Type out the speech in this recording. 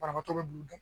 Banabaatɔ be dugu